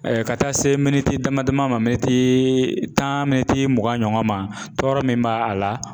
ka taa se damadama ni ma tan mugan ɲɔgɔn ma tɔɔrɔ min b'a la.